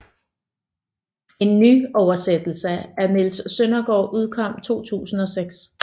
En nyoversætelse af Niels Søndergaard udkom 2006